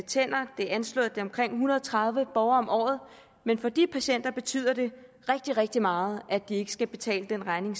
tænder det er anslået til omkring en hundrede og tredive borgere om året men for de patienter betyder det rigtig rigtig meget at de ikke selv skal betale den regning